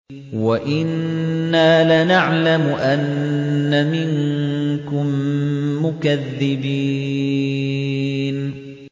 وَإِنَّا لَنَعْلَمُ أَنَّ مِنكُم مُّكَذِّبِينَ